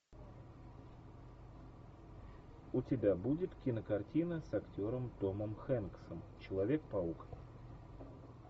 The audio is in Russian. у тебя будет кинокартина с актером томом хэнксом человек паук